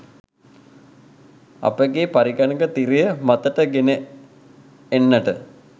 අපගේ පරිගණක තිරය මතට ගෙන එන්නට